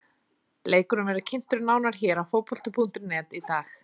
Leikurinn verður kynntur nánar hér á Fótbolti.net í dag.